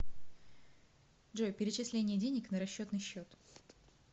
джой перечисление денег на расчетный счет